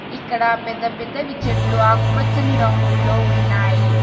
ఇక్కడ పెద్ద పెద్దవి చెట్లు ఆకుపచ్చని రంగుల్లో ఉన్నాయి.